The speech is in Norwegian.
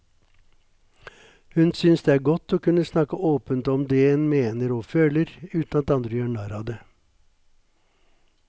Hun synes det er godt å kunne snakke åpent om det en mener og føler, uten at andre gjør narr av det.